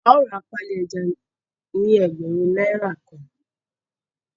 Ao rà páálí ejá ní ẹgbẹrun náírà kàn